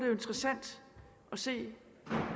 jo interessant at se